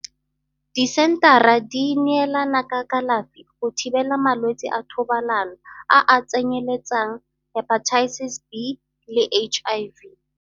Disenthara di neelana ka kalafi go thibela malwetsi a thobalano a a tsenyeletsang Hepatitis B le HIV.